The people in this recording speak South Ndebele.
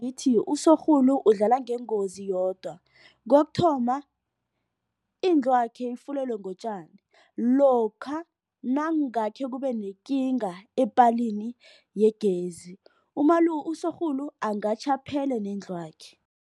Ithi, usorhulu udlala ngengozi yodwa. Kokuthoma, indlwakhe ifulelwe ngotjani. Lokha nangakhe kube nekinga epaleni yegezi usorhulu angatjha aphele nendlwakhe.